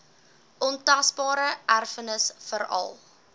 ontasbare erfenis veral